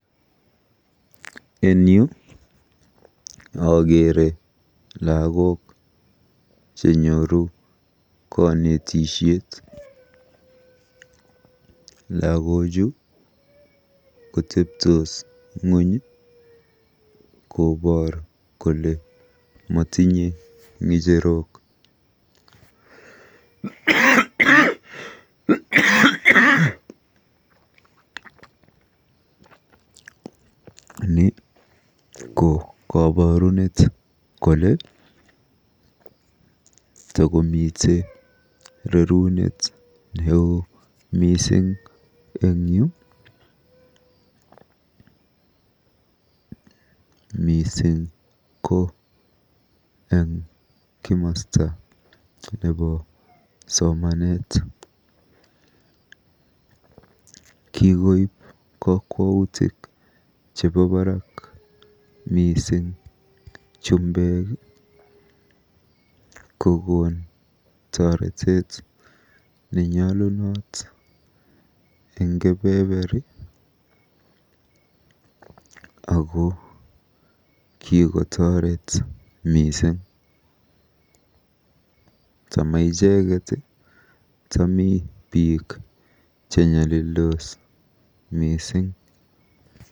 En yu akeere lagok chenyoru konitisiet. Lagochu koteptos ng'ony koboor kole motinye ng'echerok. Ni ko kaborunet kole takomite rerunet neo mising eng yu, mising ko eng komasta nebo somanet. Kikoib kokwoutik chebo barak chumbek, kokon toretet nenyolunot eng kebeberi ako kikotoret mising. Tama icheket tami biik chenyalildos mising.